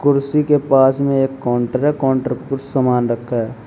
कुर्सी के पास में एक काउंटर है काउंटर के ऊपर कुछ सामान रखा है।